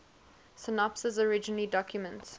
synopses originally documents